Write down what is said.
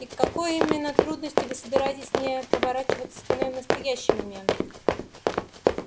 и к какой именно трудности вы собираетесь не поворачиваться спиной в настоящий момент